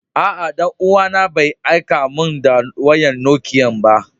Aa, dan uwa na Bai aika mun da wayan Nokiyan ko ba.